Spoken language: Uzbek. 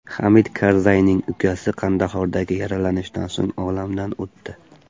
Hamid Karzayning ukasi Qandahordagi yaralanishdan so‘ng olamdan o‘tdi.